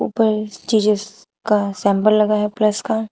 ऊपर जीजस का सेम्बल लगा है प्लस का।